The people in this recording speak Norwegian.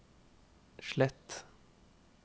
slett